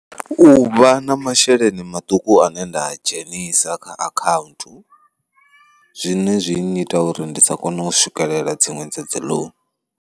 U vha na masheleni maṱuku ane nda dzhenisa kha akhaunthu, zwine zwi nnyita uri ndi sa kone u swikelela dziṅwe dza dzi loan.